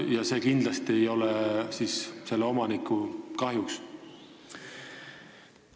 Kas kindlasti ei too see omanikule kahju kaasa?